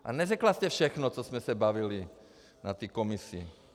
Ale neřekla jste všechno, co jsme se bavili na té komisi.